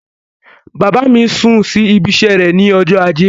Bàbá mi sún sí ibiṣẹ́ rẹ̀ ní ọjọ́ ajé.